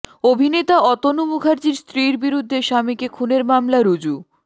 অভিনেতা অতনু মুখার্জির স্ত্রীর বিরুদ্ধে স্বামীকে খুনের মামলা রুজু